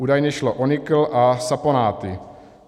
Údajně šlo o nikl a saponáty.